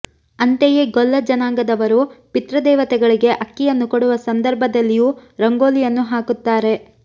ಅಂತೆಯೇ ಗೊಲ್ಲ ಜನಾಂಗದವರು ಪಿತೃದೇವತೆಗಳಿಗೆ ಅಕ್ಕಿಯನ್ನು ಕೊಡುವ ಸಂದರ್ಭದಲ್ಲಿಯೂ ರಂಗೋಲಿಯನ್ನು ಹಾಕುತ್ತಾರೆ